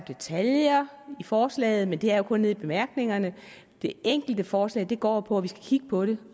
detaljer i forslaget men det er jo kun nede i bemærkningerne det egentlige forslag går jo på at vi skal kigge på det